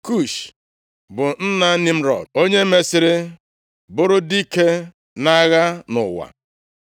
Kush bụ nna Nimrọd, onye mesịrị bụrụ dike nʼagha nʼụwa.